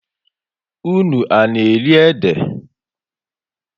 Ụnụ á na-eri ede?